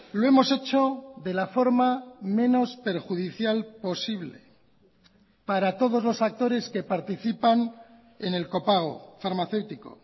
lo hemos hecho de la forma menos perjudicial posible para todos los actores que participan en el copago farmacéutico